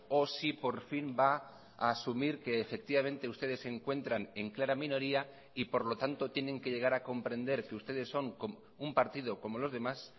o si por fin va a asumir que efectivamente ustedes se encuentran en clara minoría y por lo tanto tienen que llegar a comprender que ustedes son un partido como los demás